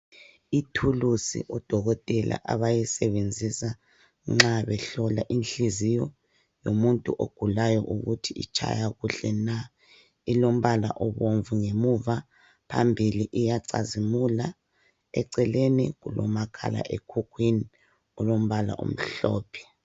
Ithulusi odokothela abayisebenzisa nxa behlola inhliziyo yomuntu ogulayo ukuthi itshaya kuhle na. Ilombala obomvu ngemuva ,phambili iyacizimula . Eceleni kulomakhala ekhukhwini olombala omhlophe.